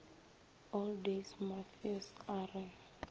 all days mmafeus a re